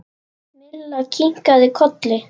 Milla kinkaði kolli.